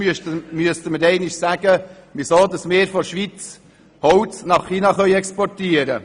Sonst müssen Sie mir erklären, weshalb wir Holz nach China exportieren.